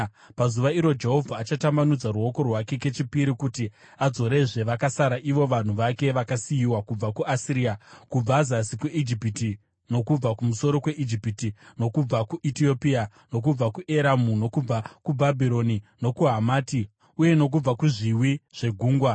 Pazuva iro Jehovha achatambanudza ruoko rwake kechipiri kuti adzorezve vakasara ivo vanhu vake vakasiyiwa kubva kuAsiria, kubva zasi kweIjipiti, nokubva kumusoro kweIjipiti nokubva kuEtiopia, nokubva kuEramu, nokubva kuBhabhironi, nokuHamati uye nokubva kuzviwi zvegungwa.